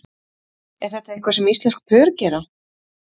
Er þetta eitthvað sem íslensk pör gera?